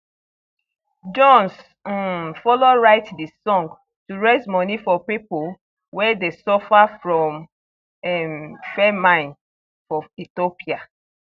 jones um followwrite di song to raise money for pipo wey dey suffer from um famine for ethiopia